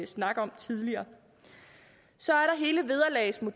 snak om tidligere så